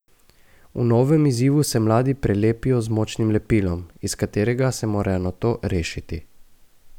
V novem izzivu se mladi prelepijo z močnim lepilom, iz katerega se morajo nato rešiti.